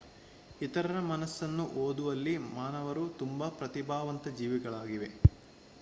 ಇತರರ ಮನಸನ್ನು ಓದುವಲ್ಲಿ ಮಾನವರು ತುಂಬಾ ಪ್ರತಿಭಾವಂತ ಜೀವಿಗಳಾಗಿವೆ